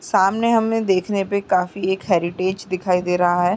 सामने हमें देखने पे काफी एक हेरिटेच दिखाई दे रहा है।